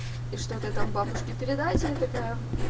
и что-то там бабушке передать я такая